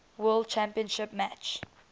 world championship match